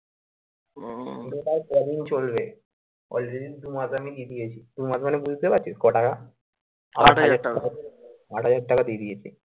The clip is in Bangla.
EMI কদিন চলবে? already দুমাস আমি দিয়ে দিয়েছি, দুমাস মানে বুঝতে পারছিস কো টাকা আট হাজার টাকা দিয়ে দিয়েছি।